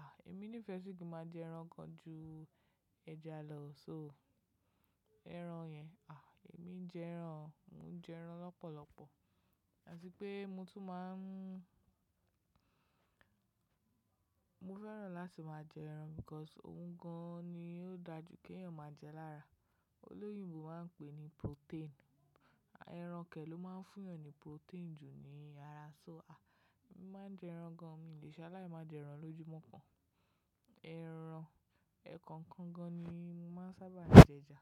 Ah! Èmi ní ìfẹ́ sì kí máa jẹ ẹran gan-an ju ẹja lọ so ẹran yẹn, ah! Èmi ń jẹ ẹran, mò ń jẹ ẹran lọ́pọ̀lọpọ̀. Àti pé mo tún máa ń Mo fẹ́ràn láti máa jẹ ẹran because ohun gan ni ó dájú kí èèyàn máa jẹ lára. Olóyìnbo máa ń pè ní protein. Ẹran kẹ̀ ló máa ń fún èèyàn ní protein jù ní ara, so ah! Èmi máa ń jẹ ẹran gan-an, mi ò lè ṣe aláì máa jẹ ẹran lójúmọ́ kan. Ẹran ẹ̀kọ̀kan gan-an ni mo máa ń sábà jẹ ẹja.